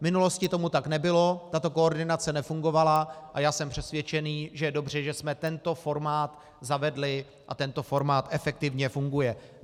V minulosti tomu tak nebylo, tato koordinace nefungovala a já jsem přesvědčený, že je dobře, že jsme tento formát zavedli a tento formát efektivně funguje.